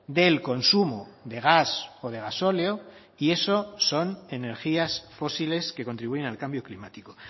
del consumo de gas o de gasóleo y eso son energías fósiles que contribuyen al cambio climático